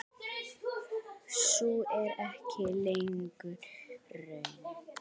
Sú er ekki lengur raunin.